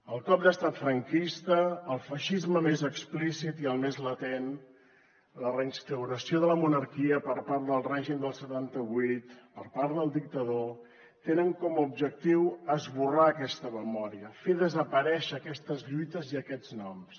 el cop d’estat franquista el feixisme més explícit i el més latent la reinstauració de la monarquia per part del règim del setanta vuit per part del dictador tenen com a objectiu esborrar aquesta memòria fer desaparèixer aquestes lluites i aquests noms